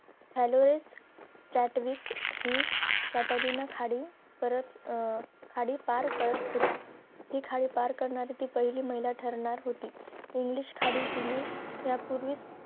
अलोव्हिस कैटवीक हि कैटग्यानेच्या खाली अं परत खाली पार करत होती ती खाली पार करणारी पहिली महिला ठरणार होती english खाडी तिने या पूर्वीच